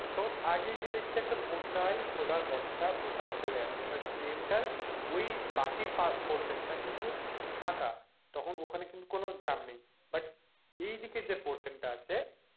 তো আগেই গিয়ে দেখেছি একটা গোটাই সোলার বস্তা পরে আছে এবার ড্রেনটার ওই বাকি portion টা কিন্তু ফাঁকা তখন ওখানে কিন্তু কোনো জ্যাম নেই but যে portion টা আছে,